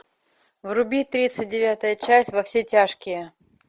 вруби тридцать девятая часть во все тяжкие